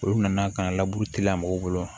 Olu nana ka na mɔgɔw bolo